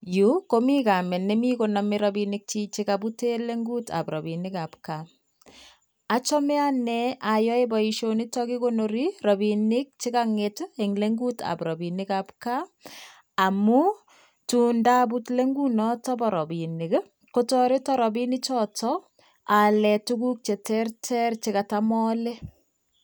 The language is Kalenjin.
Yuu komii kameet nemii konomee rabinikyiik chekabuten leng'utab rabinikab kaa, achome anee ayoee boishonitok kikonori rabinik chekong'et en leng'utab rabinikab kaa amuu tundabut leng'ut noton boo rabinik i kotoreton rabinichoto aaleen tukuk cheterter chekatam aale.